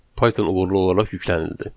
Python uğurlu olaraq yüklənildi.